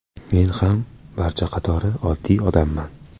Men ham barcha qatori oddiy odamman.